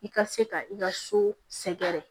I ka se ka i ka so sɛgɛrɛ